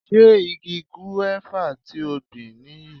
Ṣé igi gúéfà ti o gbìn nìyí?